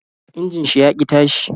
Injin shi ya ki tashi